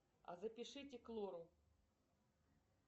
а запишите к лору